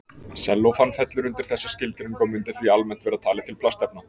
Sellófan fellur undir þessa skilgreiningu og mundi því almennt vera talið til plastefna.